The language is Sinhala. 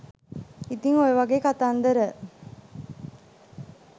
ඉතින් ඔයවගේ කතන්දර